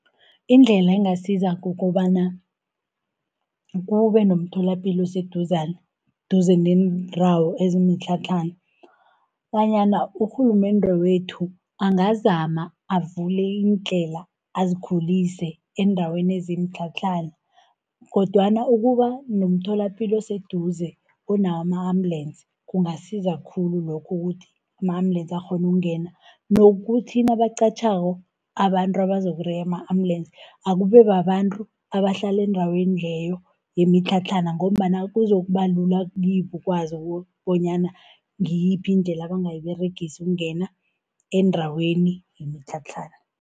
Indlela engasiza kukobana, kube nomtholapilo oseduze, duze neendawo ezimtlhatlhana, bonyana urhulumende wethu angazama avule iindlela azikhulise eendaweni ezimtlhatlhana, kodwana ukuba nomtholapilo oseduze onawo ama-ambulensi, kungasiza khulu lokhu ukuthi ama-ambulensi akghone ukungena. Nokuthi nabaqatjhako abantu abazokureya ama-ambulensi, akube babantu abahlala endaweni leyo yemitlhatlhana, ngombana kuzokuba lula kibo ukwazi bonyana ngiyiphi indlela abangayiberegisa ukungena endaweni yemitlhatlhana.